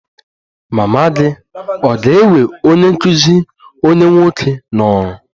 Mama gị ga-ewe onye nkụzi onwe onye nwoke n'ọrụ?